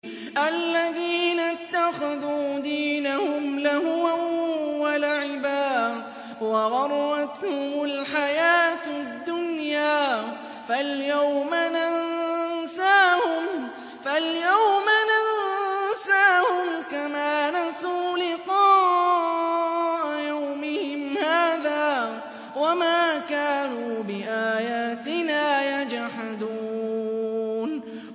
الَّذِينَ اتَّخَذُوا دِينَهُمْ لَهْوًا وَلَعِبًا وَغَرَّتْهُمُ الْحَيَاةُ الدُّنْيَا ۚ فَالْيَوْمَ نَنسَاهُمْ كَمَا نَسُوا لِقَاءَ يَوْمِهِمْ هَٰذَا وَمَا كَانُوا بِآيَاتِنَا يَجْحَدُونَ